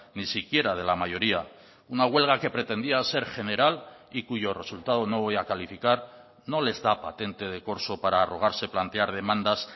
ni siquiera de la mayoría una huelga que pretendía ser general y cuyo resultado no voy a calificar no les da patente de corso para arrogarse plantear demandas